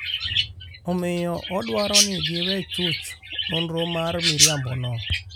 Omiyo, odwaro ni giwe chuch nonro ma miriambono.